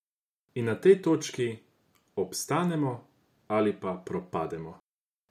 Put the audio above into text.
In na tej točki obstanemo ali pa propademo!